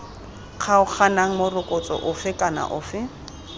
kgaoganang morokotso ofe kana ofe